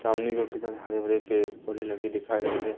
सामने की ओर किधर हरे भरे पेड़ पौधे लगे दिखाई दे रहे--